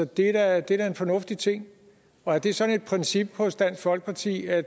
det er da en fornuftig ting er det sådan et princip hos dansk folkeparti at